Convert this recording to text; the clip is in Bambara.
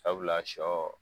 Sabula sɔ